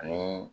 Ani